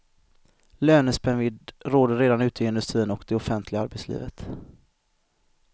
Lönespännvidd råder redan ute i industrin och det offentliga arbetslivet.